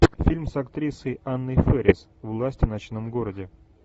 фильм с актрисой анной фэрис власть в ночном городе